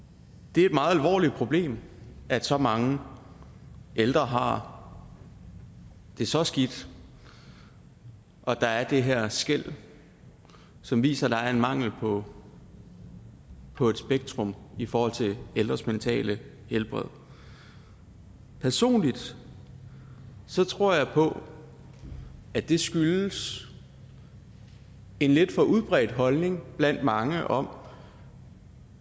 det er et meget alvorligt problem at så mange ældre har det så skidt og at der er det her skel som viser at der er en mangel på på et spektrum i forhold til ældres mentale helbred personligt tror jeg på at det skyldes en lidt for udbredt holdning blandt mange om